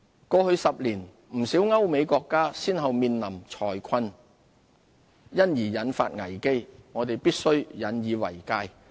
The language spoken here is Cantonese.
過去10年，不少歐美國家先後面臨財困而引發危機，我們必須引以為戒。